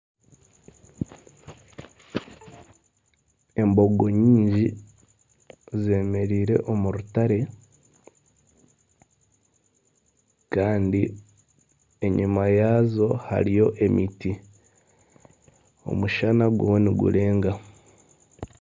Embogo nyingi zemereire omu rutare kandi enyima yaazo hariyo emiti, omushana guriyo nigurenga.